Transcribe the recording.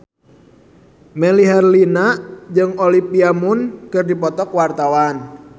Melly Herlina jeung Olivia Munn keur dipoto ku wartawan